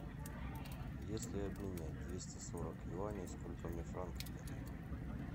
если обменять двести сорок юаней сколько мне франков дадут